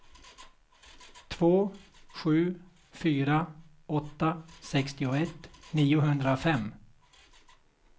två sju fyra åtta sextioett niohundrafem